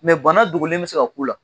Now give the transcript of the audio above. bana dogolen bɛ se ka k'uu la.